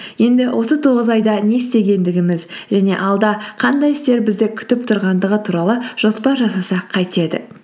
енді осы тоғыз айда не істегендігіміз және алда қандай істер бізді күтіп тұрғандығы туралы жоспар жасасақ қайтеді